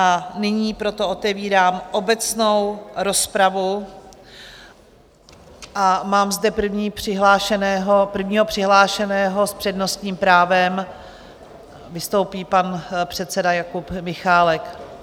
A nyní proto otevírám obecnou rozpravu a mám zde prvního přihlášeného, s přednostním právem vystoupí pan předseda Jakub Michálek.